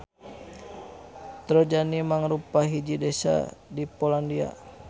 Trojany mangrupa hiji desa di Polandia.